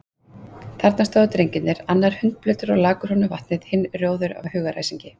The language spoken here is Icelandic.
Þarna stóðu drengirnir, annar hundblautur og lak úr honum vatnið, hinn rjóður af hugaræsingi.